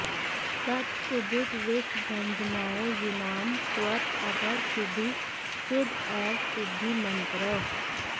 तत् उदित विष भंजनाय यूनाम् त्वत् अधर शीधु शुद एव सिद्ध मंत्रः